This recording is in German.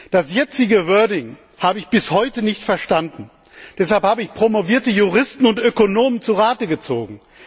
Die jetzige Formulierung habe ich bis heute nicht verstanden. Deshalb habe ich promovierte Juristen und Ökonomen zurate gezogen.